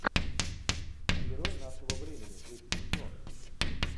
герой нашего времени третий сезон